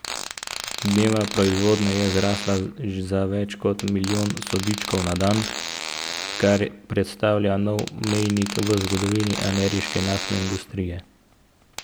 Dnevna proizvodnja je zrasla za več kot milijon sodčkov na dan, kar predstavlja nov mejnik v zgodovini ameriške naftne industrije.